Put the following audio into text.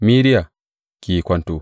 Mediya, ki yi kwanto!